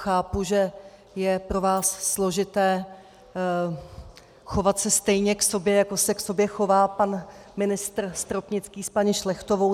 Chápu, že je pro vás složité chovat se stejně k sobě, jako se k sobě chová pan ministr Stropnický s paní Šlechtovou.